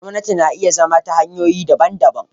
Gwamnati na iya zama ta hanyoyi daban-daban.